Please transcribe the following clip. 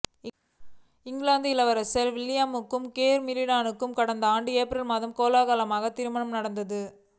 இங்கிலாந்து இளவரசர் வில்லியமுக்கும் கேத் மிடில்டனுக்கும் கடந்த ஆண்டு ஏப்ரலில் கோலாகலமாக திருமணம் நடந்தது